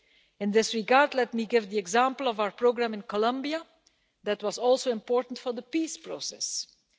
In this regard, let me give the example of our programme in Colombia that was also important to the peace process there.